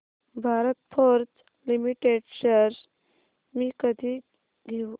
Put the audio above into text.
Bharat Forge limited shares मी कधी घेऊ